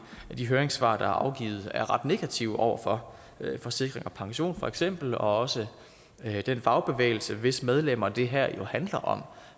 af de høringssvar der er afgivet er ret negative over for forsikring og pension for eksempel og også den fagbevægelse hvis medlemmer det her jo handler om